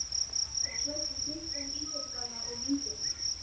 Hjördís var klædd í þykkan íþróttagalla og vindjakka.